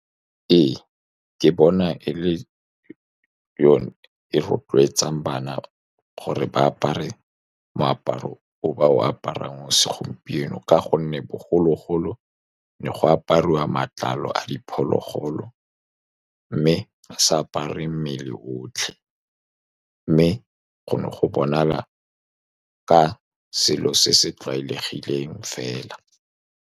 Ee, ke bona e le yone e rotloetsang bana gore ba apare moaparo o ba o aparang mo segompieno, ka gonne bogologolo ne go apariwa matlalo a diphologolo. Mme a sa apare mmele otlhe, mme go ne go bonala ka selo se se tlwaelegileng fela.